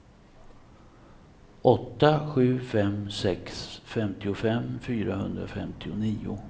åtta sju fem sex femtiofem fyrahundrafemtionio